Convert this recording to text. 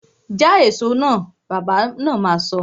Ja èso náà! Bàbá na ma sọ